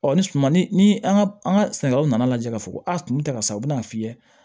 ni suma ni an ka an ka sɛnɛ yɔrɔ nana lajɛ k'a fɔ ko a tun tɛ ka sa u bɛna a fiyɛ